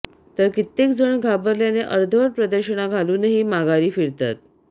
तर कित्येक जण घाबरल्याने अर्धवट प्रदक्षिणा घालूनही माघारी फिरतात